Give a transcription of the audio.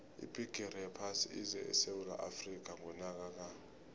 ibhigiri yephasi ize esewula afrika ngonyaka ka